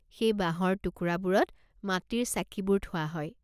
সেই বাঁহৰ টুকুৰাবোৰত মাটিৰ চাকিবোৰ থোৱা হয়।